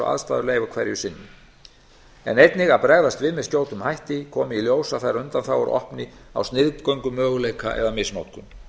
aðstæður leyfa hverju sinni en einnig að bregðast við með skjótum hætti komi í ljós að þær undanþágur opni á sniðgöngumöguleika eða misnotkun